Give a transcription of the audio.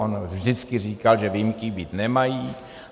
On vždycky říkal, že výjimky být nemají.